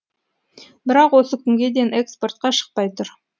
бірақ осы күнге дейін экспортқа шықпай тұр